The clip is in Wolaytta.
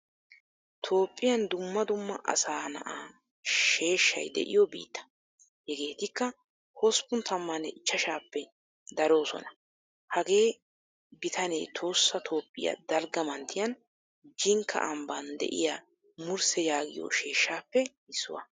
Toophphiyan dumma dumma asaa na"aa sheeshshay de'iyo biittaa. Hegettika hosppun tammane ichchashshappe darosona. Hagee biittane tohossa toophiyaa dalgga manttiyan Jinkka amban deiya mursse yaagiyo sheeshshaappe issuwaa.